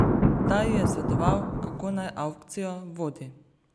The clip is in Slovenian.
Ta ji je svetoval, kako naj avkcijo vodi.